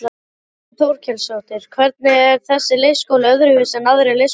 Þórhildur Þorkelsdóttir: Hvernig er þessi leikskóli öðruvísi en aðrir leikskólar?